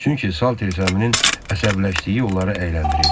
Çünki Saltersəminin əsəbləşdiyi onları əyləndirirdi.